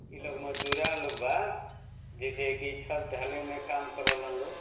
इ लोग मजदूरा लोग बा | जइसे की छत ढाले में काम करेलन लोग |